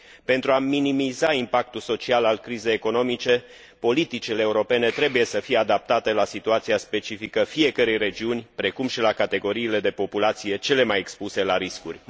Pentru a minimiza impactul social al crizei economice, politicile europene trebuie să fie adaptate la situația specifică fiecărei regiuni, precum și la categoriile de populație cele mai expuse la riscuri.